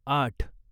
आठ